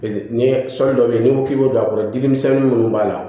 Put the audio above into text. Ni sɔli dɔ be yen n'i ko k'i b'o don a kɔrɔ dimi misɛnnin munnu b'a la